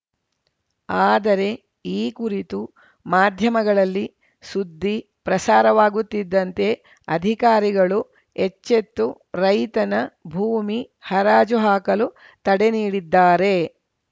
ಆದರೆ ಈ ಕುರಿತು ಮಾಧ್ಯಮಗಳಲ್ಲಿ ಸುದ್ದಿ ಪ್ರಸಾರವಾಗುತ್ತಿದ್ದಂತೆ ಅಧಿಕಾರಿಗಳು ಎಚ್ಚೆತ್ತು ರೈತನ ಭೂಮಿ ಹರಾಜು ಹಾಕಲು ತಡೆ ನೀಡಿದ್ದಾರೆ